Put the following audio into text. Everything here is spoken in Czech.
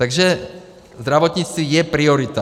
Takže zdravotnictví je priorita.